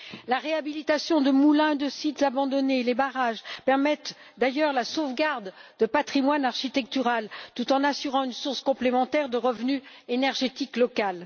La réhabilitation de moulins, de sites abandonnés, ainsi que les barrages, contribuent d'ailleurs à la sauvegarde du patrimoine architectural, tout en assurant une source complémentaire de revenus énergétiques locaux.